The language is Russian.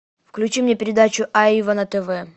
включи мне передачу айва на тв